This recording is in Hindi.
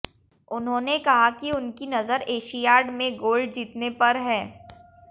उन्होंने कहा कि उऩकी नजर एशियाड में गोल्ड जीतने पर है